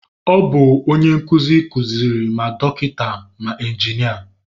Ọ bụ onye nkụzi kuziri ma dọkịta ma injinia